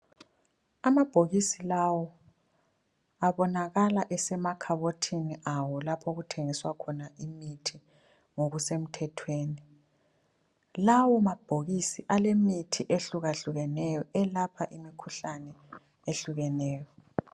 Amabhokisi lawa abonakala esemakhabothini awo lapho okuthengiswa khona imithi ngokusemthethweni. Lawo mabhokisi alemithi ehlukahlukeneyo elapha imikhuhlane ehlukeneyo.